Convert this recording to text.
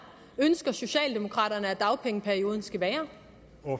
socialdemokraterne ønsker at dagpengeperioden skal være